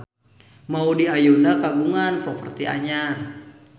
Maudy Ayunda kagungan properti anyar